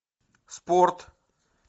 спорт